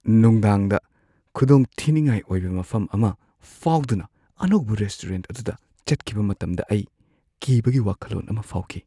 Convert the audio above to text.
ꯅꯨꯡꯗꯥꯡꯗ ꯈꯨꯗꯣꯡꯊꯤꯅꯤꯡꯉꯥꯏ ꯑꯣꯏꯕ ꯃꯐꯝ ꯑꯃ ꯐꯥꯎꯗꯨꯅ ꯑꯅꯧꯕ ꯔꯦꯁꯇꯨꯔꯦꯟꯠ ꯑꯗꯨꯗ ꯆꯠꯈꯤꯕ ꯃꯇꯝꯗ ꯑꯩ ꯀꯤꯕꯒꯤ ꯋꯥꯈꯜꯂꯣꯟ ꯑꯃ ꯐꯥꯎꯈꯤ ꯫